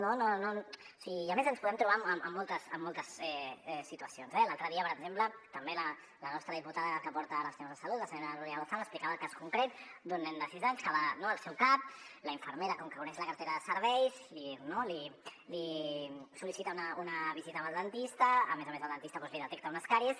no o sigui i a més ens podem trobar amb moltes situacions eh l’altre dia per exemple també la nostra diputada que porta ara els temes de salut la senyora núria lozano explicava el cas concret d’un nen de sis anys que va al seu cap la infermera com que coneix la cartera de serveis li sol·licita una visita amb el dentista a més a més el dentista li detecta unes càries